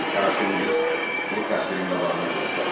Qaraşın qız pulu kasserin qabağına qoydu.